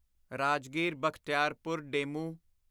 Rajgir Bakhtiyarpur DEMU